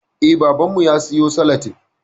Eh, babanmu ya siyo salatif